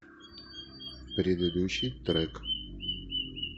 предыдущий трек